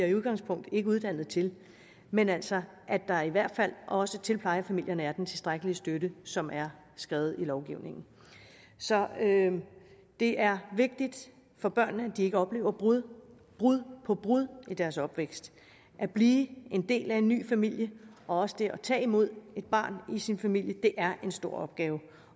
i udgangspunktet ikke uddannet til men altså at der i hvert fald også til plejefamilierne er den tilstrækkelige støtte som er skrevet i lovgivningen så det er vigtigt for børnene at de ikke oplever brud brud på brud i deres opvækst at blive en del af en ny familie og også det at tage imod et barn i sin familie er en stor opgave